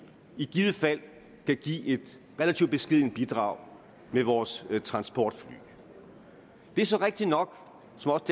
i givet fald kan give et relativt beskedent bidrag med vores transportfly det er så rigtig nok